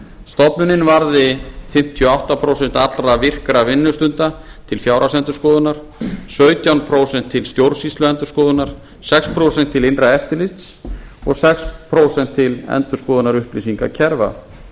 stofnunin varði fimmtíu og átta prósent allra virkra vinnustunda til fjárhagsendurskoðunar sautján prósent til stjórnsýsluendurskoðunar sex prósent til innra eftirlits og sex prósent til endurskoðunar upplýsingakerfa